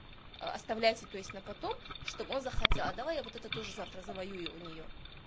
оставляйте то есть на потом чтобы он захотел а давай я вот это тоже завтра заварю завоюю у нее